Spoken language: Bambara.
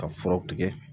Ka furaw tigɛ